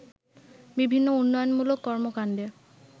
বিভিন্ন উন্নয়নমূলক কর্মকাণ্ডে